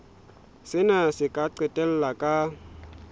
sena se ka qetella ka